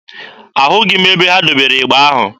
Ahụghị m ebe ha debere ịgba ahụ.